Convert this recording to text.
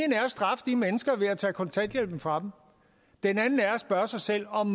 at straffe de mennesker ved at tage kontanthjælpen fra dem den anden er at spørge sig selv om